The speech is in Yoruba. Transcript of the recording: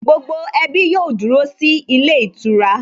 Gbogbo ẹbí yóò dúró sí ilé ìtura